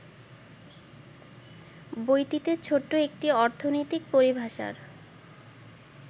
বইটিতে ছোট্ট একটি অর্থনৈতিক পরিভাষার